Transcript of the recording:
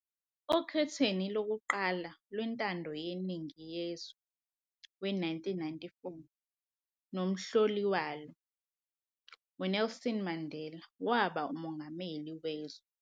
Okhethweni lokuqala lwentando yeningi yezwe we-1994 nomhloli walo, uNelson Mandela, waba ngumengameli wezwe.